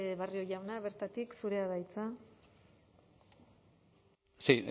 barrio jauna bertatik zurea da hitza sí